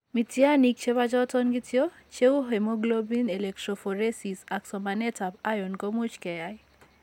Mityaaniik che po choton kityo, che uu hemoglobin electrophoresis ak somanetap iron ko much ke yaay.